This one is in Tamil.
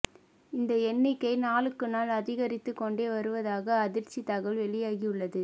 இந்த எண்ணிக்கை நாளுக்கு நாள் அதிகரித்துக் கொண்டே வருவதாக அதிர்ச்சி தகவல் வெளியாகி உள்ளது